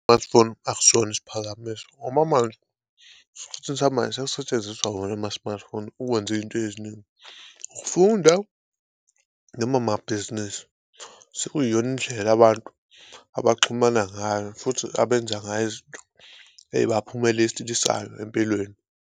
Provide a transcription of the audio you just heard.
Smartphone akusona isiphakamiso ngoba manje esikhathini samanje sekusetshenziswa wona ama-smartphone ukwenza izinto eziningi, ukufunda noma amabhizinisi sekuyiyona indlela abantu abaxhumana ngayo futhi abenza ngayo izinto empilweni.